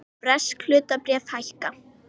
Bresk hlutabréf hækka